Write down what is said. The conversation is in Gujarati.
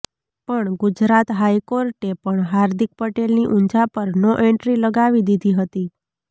પણ ગુજરાત હાઈકોર્ટે પણ હાર્દિક પટેલની ઊંઝા પર નો એન્ટ્રી લગાવી દીધી હતી